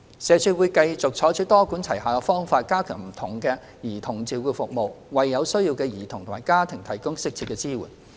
社署會繼續採取多管齊下的方法，加強不同的兒童照顧服務，為有需要的兒童及家庭提供適切的支援。